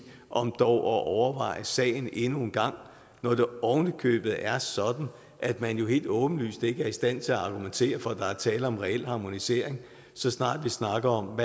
om at overveje sagen endnu en gang når det ovenikøbet er sådan at man jo helt åbenlyst ikke er i stand til at argumentere for at der er tale om en reel harmonisering så snart vi snakker om